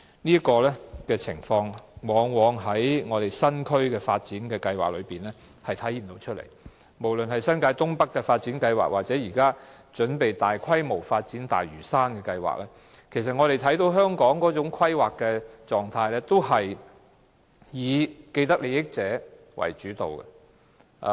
這種情況往往見於政府對新發展區的規劃，無論是新界東北發展計劃，以至當局準備大規模發展的大嶼山發展計劃，我們都看到，香港的規劃模式是以既得利益者為主導。